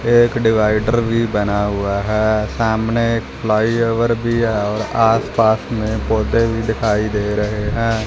एक डिवाइडर भी बना हुआ है सामने एक फ्लाई ओवर भी है और आस पास में पौधे भी दिखाई दे रहे हैं।